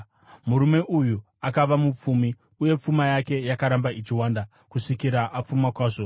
Murume uyu akava mupfumi, uye pfuma yake yakaramba ichiwanda kusvikira apfuma kwazvo.